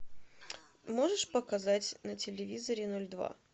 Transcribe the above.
можешь показать на телевизоре ноль два